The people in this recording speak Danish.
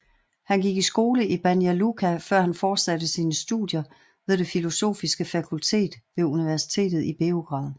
Han gik i skole i Banja Luka før han fortsatte sine studier ved det filosofiske fakultet ved universitetet i Beograd